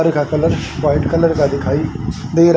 घर का colour white colour का दिखाई दे रहा--